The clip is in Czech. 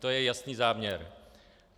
To je jasný záměr.